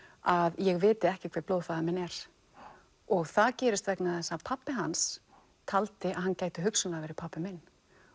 að ég viti ekki hver minn er og það gerist vegna þess að pabbi hans taldi að hann gæti hugsanlega verið pabbi minn